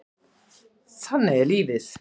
Þannig er lífið.